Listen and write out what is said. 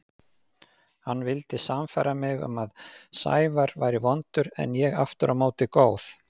Hann vildi sannfæra mig um að Sævar væri vondur en ég aftur á móti góð.